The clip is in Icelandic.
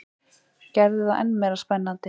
Gerði það enn meira spennandi.